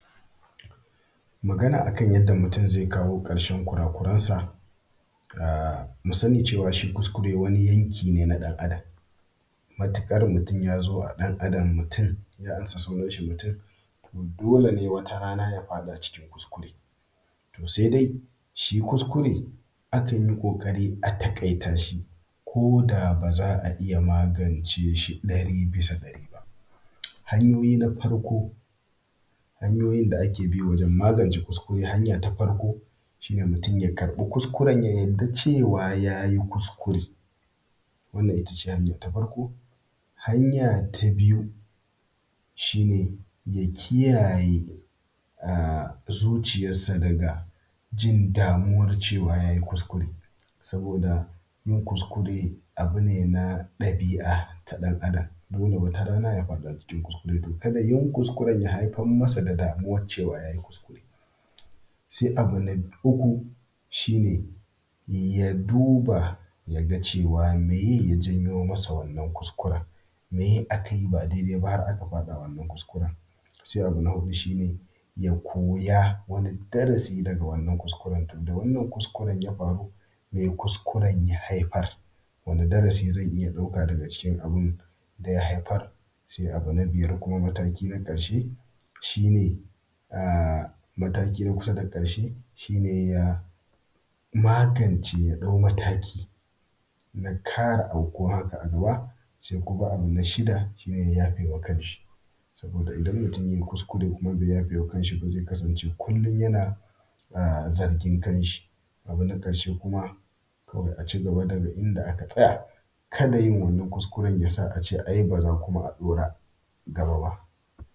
Magana a kan yadda mutum zai kawo ƙarshen kura kuransa. Mu sani cewa shi kuskure wani yanki ne na ɗan Adam, matuƙar mutum ya zo a ɗan Adam ya amsa sunansa mutum, dole ne wata ran ya faɗa cikin kuskure. To sai dai shi kuskure akan yi ƙoƙari a taƙaita shi koda ba za a iya magance shi ɗari bisa ɗari ba. Hanya ta farko wajen magance kuskure shi ne, mutum ya amsa kuskuren ya yadda cewa yayi kuskuren. Wannan itace hanya ta farko. Hanya ta biyu shi ne, ya kiyaye zuciyansa daga damuwan cewa yayi kuskure, domin yin kuskure abu ne na ɗabi’a ta ɗan Adam, dole wata rana yayi kuskure, to kada kuskure ya haifar masa da damuwan cewa yayi kuskure. Sai abu na uku shine, ya duba ya ga cewa me ye ya janyo masa wannan kuskuren, meye aka yi ba daidai ba har aka faɗa wanan kuskuren. Sai abu na hudu shine, ya koyi wani darasi daga wannan kuskuren. Da wannan kuskuren ya faru mai ya haifar? Wani darasi zan iya ɗauka daga cikin abun da ya haifar. Abu na biyar kuma mataki na kusa da karshe shine, ya magance ya ɗau mataki na kare aukuwan haka a gaba. Sai kuma abu na shida shine ya yafe ma kanshi, sabida idan mutum yayi kuskure kuma bai yafe ma kan shi ba zai kasance kullum yana zargin kan shi. Abu na karshe kuma shine a cigaba daga inda aka tsaya kada yin wannan kuskuren yasa a ce ai ba za a ɗaura gaba ba.